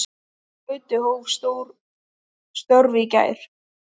Gauti hóf störf í gær.